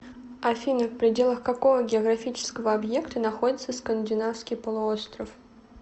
афина в пределах какого географического объекта находится скандинавский полуостров